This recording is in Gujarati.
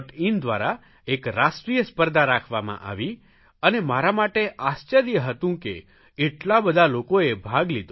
in દ્વારા એક રાષ્ટ્રીય સ્પર્ધા રાખવામાં આવી અને મારા માટે આશ્ચર્ય હતું કે એટલા બધા લોકોએ ભાગ લીધો